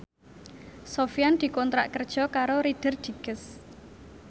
Sofyan dikontrak kerja karo Reader Digest